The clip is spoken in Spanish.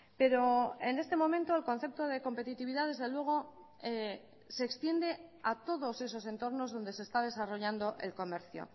pero en este momento el concepto de competitividad desde luego se extiende a todos esos entornos donde se está desarrollando el comercio